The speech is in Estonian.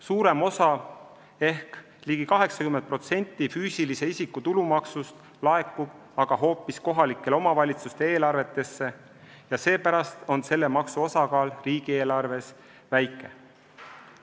Suurem osa ehk ligi 80% füüsilise isiku tulumaksust laekub aga hoopis kohalike omavalitsuste eelarvetesse ja seepärast on selle maksu osakaal riigieelarves väike.